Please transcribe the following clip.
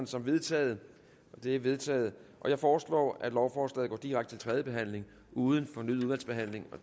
som vedtaget det er vedtaget jeg foreslår at lovforslaget går direkte til tredje behandling uden fornyet udvalgsbehandling